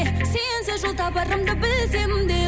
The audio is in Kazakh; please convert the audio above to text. сенсіз жол табарымды білсем де